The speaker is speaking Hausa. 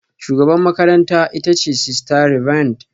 Shugabar makarantara ita ce Sister Reverend